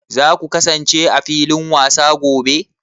Za ku kasance a filin wasa a gobe?